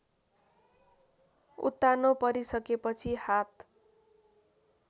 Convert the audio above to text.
उत्तानो परिसकेपछि हात